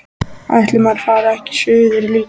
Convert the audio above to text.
Ætli maður fari ekki suður líka.